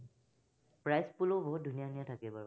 prize pool ও বহুত ধুনীয়া ধুনীয়া থাকে বাৰু।